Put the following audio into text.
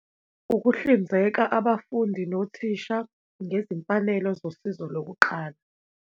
Ukuhlinzeka abafundi nothisha ngezimfanelo zosizo lokuqala.